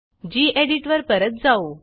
geditवर परत जाऊ